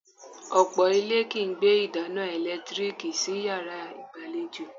Ọ̀pọ̀ ilé kìí gbé ìdáná ẹ̀lẹ́tíríìkì sí yàrá ìgbàlejò